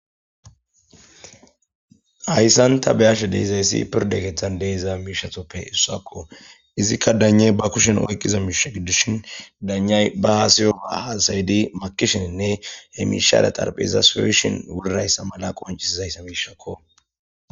Hayssanta beyashe deezayssi pirde keeththan deeza miishatoppe issuakko izikka daney ba kushen oyqqiza miishe giddushin danay ba haasayo aasaydi makishininne he mishada xarphizas pewishin wurrayssa mala qoncisizayssa miishakko.